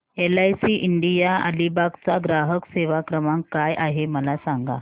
LIC India Alibag चा ग्राहक सेवा क्रमांक काय आहे मला सांगा